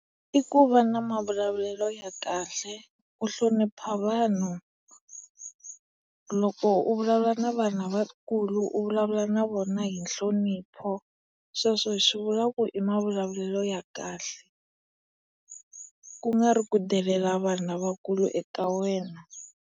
I ku va na mavulavulelo ya kahle, ku hlonipa vanhu. Loko u vulavula na vanhu lavakulu u vulavula na vona hi nhlonipho. Sweswo hi swivula ku i mavulavulelo ya kahle. Ku nga ri ku delela vanhu lavakulu eka wena.